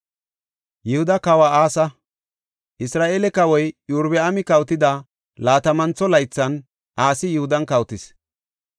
Isra7eele kawoy Iyorbaami kawotida laatamantho laythan Asi Yihudan kawotis.